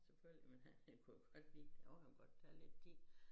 Selvfølgelig men han det kunne han godt lide jo han kunne godt tage lidt tid